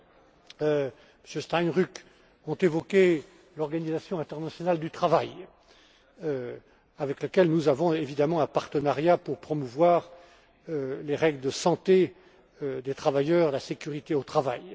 Jutta Steinruck, ont évoqué l'Organisation internationale du travail, avec laquelle nous entretenons évidemment un partenariat, pour promouvoir les règles de santé des travailleurs, la sécurité au travail.